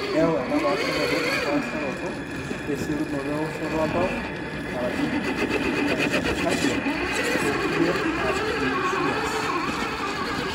Keyau enapaasharoto, empaasharoto esiokinoto eoshoto oltau (tachycardia) okulie arrhythmias.